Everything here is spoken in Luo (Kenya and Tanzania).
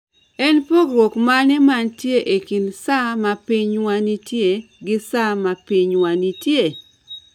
En pogruok mane mantie e kind sa ma pinywa nitie gi sa ma pinywa nitie?